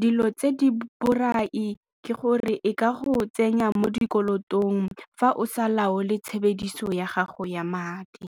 Dilo tse di borai ke gore e ka go tsenya mo dikolotong fa o sa laole tshebediso ya gago ya madi.